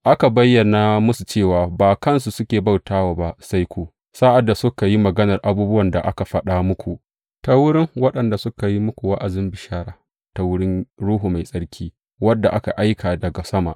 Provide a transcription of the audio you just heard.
Aka bayyana musu cewa ba kansu ne suke bauta wa ba sai ku, sa’ad da suka yi maganar abubuwan da aka faɗa muku ta wurin waɗanda suka yi muku wa’azin bishara, ta wurin Ruhu Mai Tsarki wanda aka aika daga sama.